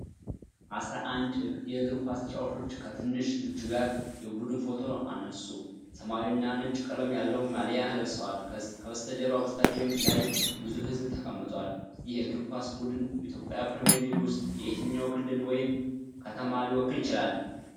አስራ አንድ የእግር ኳስ ተጫዋቾች ከትንሽ ልጅ ጋር የቡድን ፎቶ አነሱ። ሰማያዊና ነጭ ቀለም ያለው ማሊያ ለብሰዋል። ከበስተጀርባ በስታዲየም ላይ ብዙ ሕዝብ ተቀምጧል። ይህ የእግር ኳስ ቡድን በኢትዮጵያ ፕሪሚየር ሊግ ውስጥ የትኛውን ክልል ወይም ከተማ ሊወክል ይችላል?